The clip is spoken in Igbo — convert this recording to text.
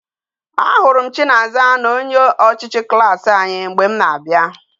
A hụrụ m chinaza na onye ochichi klas anyi mgbe m na